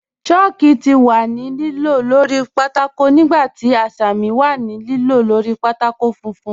Chàlkù ti wà ní lìlò lórí pátákó nígbà tí àṣàmì wà ní lìlò lórí pátákó fùnfún.